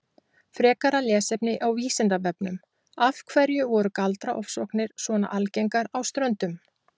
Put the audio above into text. Frekara lesefni á Vísindavefnum Af hverju voru galdraofsóknir svona algengar á Ströndum?